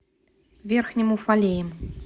верхним уфалеем